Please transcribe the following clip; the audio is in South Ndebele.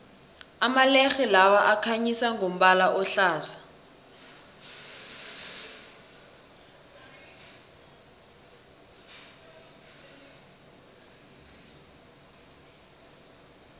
amalerhe lawa akhanyisa ngombala ohlaza